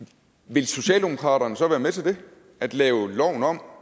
vil socialdemokraterne så være med til det at lave loven om